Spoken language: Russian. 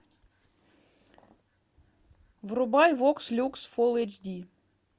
врубай вокс люкс фул эйч ди